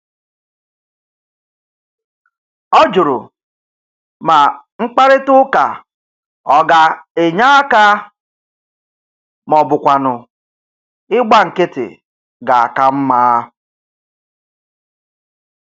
Ọ jụrụ ma mkparịtaụka ọ ga-enye aka ma ọ bụkwanụ ịgba nkịtị ga-aka mma.